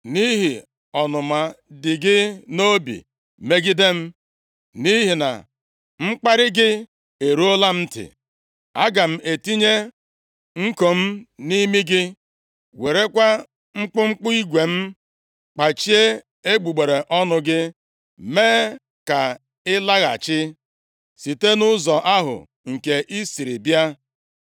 Nʼihi ọnụma dị gị nʼobi megide m, nʼihi na mkparị gị eruola m ntị, aga m etinye nko m nʼimi gị werekwa mkpụmkpụ igwe m kpachie egbugbere ọnụ gị mee ka ị laghachi site nʼụzọ ahụ nke i siri bịa.’